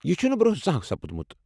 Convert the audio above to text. یہِ چھُنہِ برونٛہہ زانٛہہ سپُدمُت۔